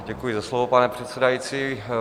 Děkuji za slovo, pane předsedající.